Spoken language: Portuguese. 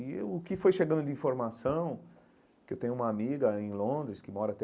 E o que foi chegando de informação, que eu tenho uma amiga em Londres, que mora até